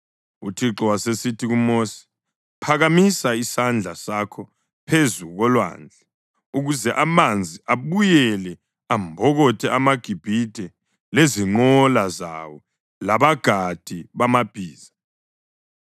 UThixo wasesithi kuMosi, “Phakamisa isandla sakho phezu kolwandle ukuze amanzi abuyele ambokothe amaGibhithe lezinqola zawo labagadi bamabhiza.”